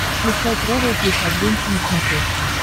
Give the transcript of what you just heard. включай трэвел плюс адвенча на смотрешке